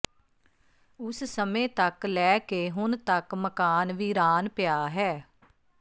ਉਸ ਸਮੇਂ ਤੱਕ ਲੈ ਕੇ ਹੁਣ ਤੱਕ ਮਕਾਨ ਵੀਰਾਨ ਪਿਆ ਹੈ